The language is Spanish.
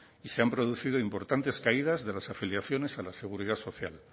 y se han producido importantes caídas de las afiliaciones a la seguridad social